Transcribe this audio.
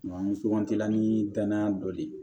An sugantila ni danaya dɔ ye